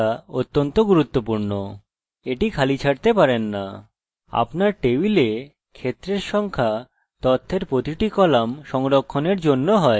আপনি এটি খালি ছাড়তে পারেন না আপনার টেবিলে ক্ষেত্রের সংখ্যা তথ্যের প্রতিটি কলাম সংরক্ষণের জন্য হয়